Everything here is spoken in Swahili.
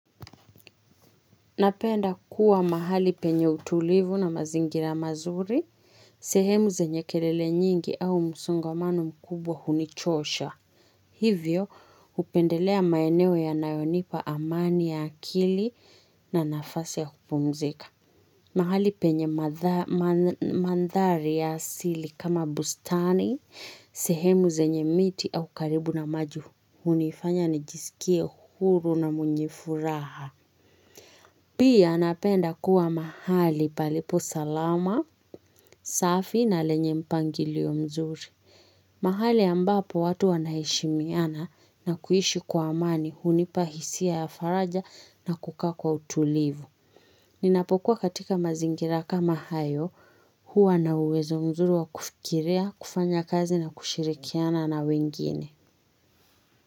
Napenda kuwa mahali penye utulivu na mazingira mazuri. Sehemu zenye kerele nyingi au musongamano mkubwa hunichosha. Hivyo upendelea maeneo yanayonipa amani ya akili na nafasi ya kupumzika. Mahali penye madh ma mandhari ya asili kama bustani, sehemu zenye miti au karibu na maju. Hunifanya nijisikie huru na mwenye furaha. Pia napenda kuwa mahali palipo salama, safi na lenye mpangilio mzuri. Mahali ambapo watu wanaheshimiana na kuhishi kwa amani hunipa hisia ya faraja na kukaa kwa utulivu. Ninapokuwa katika mazingira kama hayo huwa na uwezo mzuri wa kufikirea, kufanya kazi na kushirikiana na wengine.